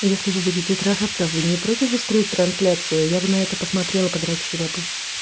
если вы будете трахаться вы не против устроить трансляцию я бы на это посмотрела подрочила бы